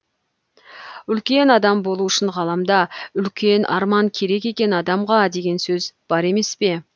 үлкен адам болу үшін ғаламда үлкен арман керек екен адамға деген сөз бар емес пе